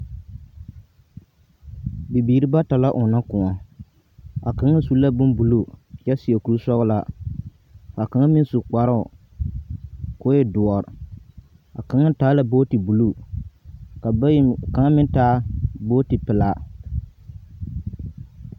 Bibiiri bata la ͻnnͻ kõͻ, ka kaŋ su la bombuluu kyԑ seԑ kuri-sͻgelaa ka kaŋa meŋ su kparoo koo e dõͻre, ka kaŋa taa la booti buluu ka bayi ka kaŋa meŋ taa booti pelaa.